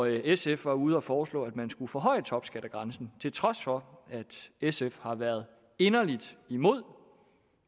sf var ude at foreslå at man skulle forhøje topskattegrænsen og til trods for at sf har været inderlig imod